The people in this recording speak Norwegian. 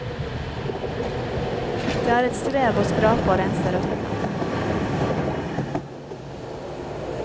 Det er et strev å skrape og rense røttene.